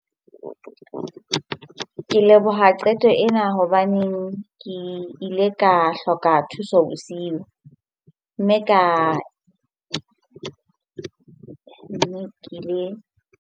Ke leboha qeto ena hobaneng ke ile ka hloka thuso bosiu, mme ka ke le.